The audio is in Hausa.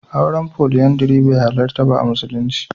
Auren Foliyandari bai halarta ba a musulunci.